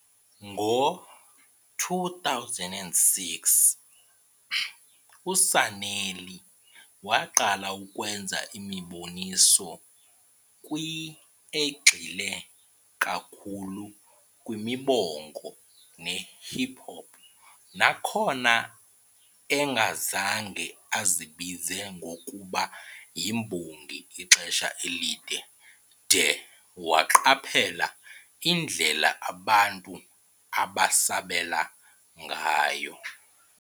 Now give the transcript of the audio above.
Mgo-2006, uSanelly waqala ukwenza imiboniso kwi egxile kakhulu kwimibongo nehip hop, nakhona engazange azibize ngokube yimbongi ixesha elide de waqaphela indlela abantu abasabela ngayo.